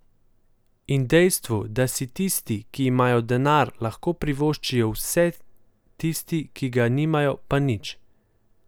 In dejstvu, da si tisti, ki imajo denar, lahko privoščijo vse, tisti, ki ga nimajo, pa nič.